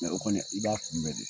o kɔni, i b'a kunbɛ de.